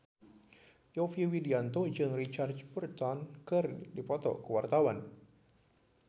Yovie Widianto jeung Richard Burton keur dipoto ku wartawan